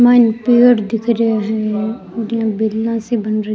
माइन पेड़ दिख रा है इन बीला सी बन री --